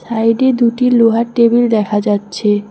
সাইডে দুটি লোহার টেবিল দেখা যাচ্ছে।